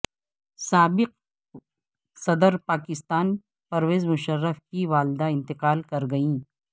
سابق صدر پاکستان پرویز مشرف کی و ا لدہ انتقال کر گئیں